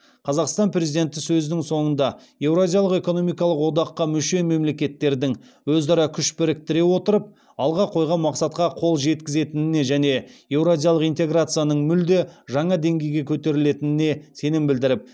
қазақстан президенті сөзінің соңында еуразиялық экономикалық одаққа мүше мемлекеттердің өзара күш біріктіре отырып алға қойған мақсатқа қол жеткізетініне және еуразиялық интеграцияның мүлде жаңа деңгейге көтерілетініне сенім білдіріп